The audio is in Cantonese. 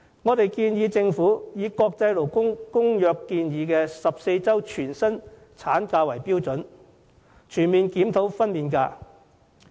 我們建議政府以國際勞工公約建議的14周全薪產假為標準，全面檢討分娩假。